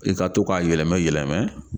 I ka to k'a yɛlɛmɛ yɛlɛmɛ.